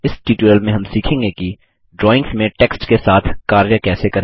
इस ट्यूटोरियल में हम सीखेंगे कि ड्राइंग्स में टेक्स्ट के साथ कार्य कैसे करें